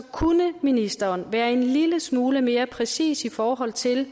kunne ministeren være en lille smule mere præcis i forhold til